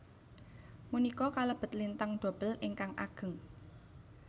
Punika kalebet lintang dobel ingkang ageng